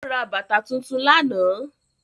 Ó ra bàtà tuntun lánàá